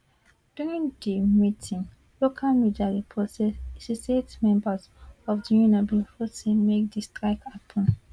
during di meeting local media report say 68 members of di union bin vote say make di strike happun